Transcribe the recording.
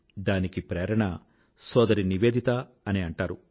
దానికి ప్రేరణ సోదరి నివేదిత అని అంటారు